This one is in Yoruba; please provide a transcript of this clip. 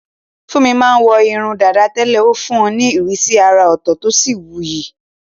Funmi máa ń wọ irun dàda tẹ́lẹ̀, ó fún un ní ìrísí àrà ọ̀tọ̀ tí ó sì wuyì.